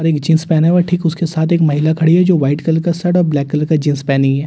और एक जींस पहना हुआ है और ठीक उसके साथ एक महिला खड़ी है जो वाइट कलर का शर्ट और ब्लैक कलर का जींस पहनी है।